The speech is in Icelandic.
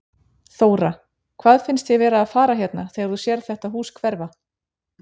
Þóra: Hvað finnst þér vera að fara hérna þegar þú sérð þetta hús hverfa?